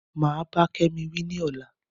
Mà bá Kémi wí ni ọ̀la